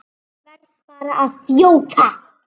Verð bara að þjóta!